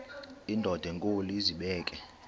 indod enkulu izibeke